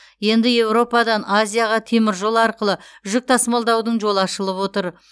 енді еуропадан азияға теміржол арқылы жүк тасымалдаудың жолы ашылып отыр